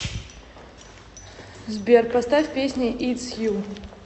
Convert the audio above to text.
сбер поставь песня итс ю